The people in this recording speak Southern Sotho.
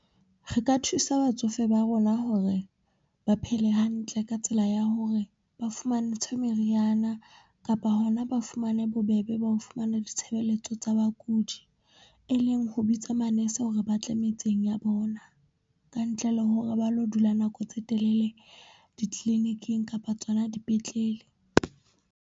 Re ka thusa batsofe ba rona hore ba phele hantle ka tsela ya hore ba fumantshwe meriana kapa hona ba fumane bobebe ba ho fumana ditshebeletso tsa bakudi. E leng ho bitsa manese hore batle metseng ya bona ka ntle le hore ba lo dula nako tse telele di-clinic-ing kapa tsona dipetlele.